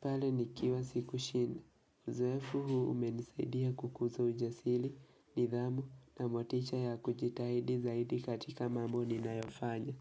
pale nikiwa sikushinda. Uzoefu huu umenisaidia kukuza ujasiri, nidhamu na motisha ya kujitahidi zaidi katika mambo ninayofanya.